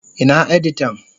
Ina editan?